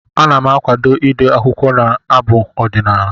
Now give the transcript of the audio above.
Ana m akwado ide akwụkwọ na abụ ọdịnaala.